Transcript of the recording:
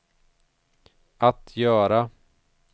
att göra